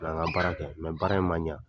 Nana n ka baara kɛ, baara in man ɲɛ.